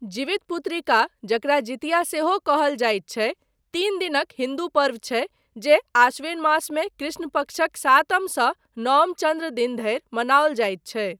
जिवितपुत्रिका, जकरा जितिया सेहो कहल जाइत छै, तीन दिनक हिन्दू पर्व छै जे आश्विन मासमे कृष्ण पक्षक सातमसँ नओम चन्द्र दिन धरि मनाओल जाइत छै।